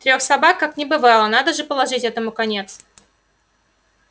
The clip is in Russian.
трёх собак как не бывало надо же положить этому конец